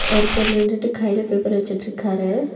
ஒருத்தர் நின்டுட்டு கைல பேப்பர் வெச்சிட்ருக்காரு.